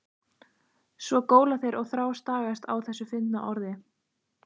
Svo góla þeir og þrástagast á þessu fyndna orði.